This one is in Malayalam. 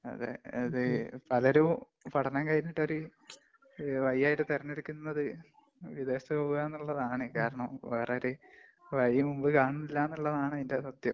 അതേ, അതൊരു പഠനം കഴിഞ്ഞിട്ടൊരു വയിയായിട്ട് തെരഞ്ഞെടുക്കുനത് വിദേശത്ത് പോവുക എന്നുള്ളതാണ്. കാരണം വേറെ ഒരു വഴി മുമ്പില്‍ കാണുന്നില്ല എന്നുള്ളതാണ് അതിന്‍റെ സത്യം.